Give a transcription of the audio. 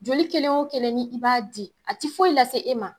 Joli kelen o kelen ni i b'a di a ti foyi lase e ma.